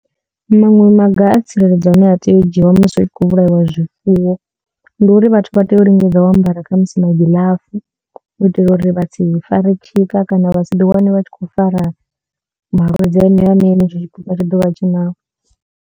Maṅwe maga a tsireledzo ane a tea u dzhiiwa musi hu tshi khou vhulaiwa zwifuwo ndi uri vhathu vha tea u lingedza u ambara khamusi magiḽafu u itela uri vha si fare tshika kana vha si ḓi wane vha tshi khou fara malwadze aneyo ane henetsho tshipuka tsha ḓovha tshi nao.